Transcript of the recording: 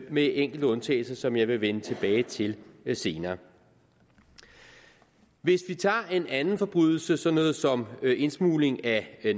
med enkelte undtagelser som jeg vil vende tilbage til senere hvis vi tager en anden forbrydelse såsom indsmugling af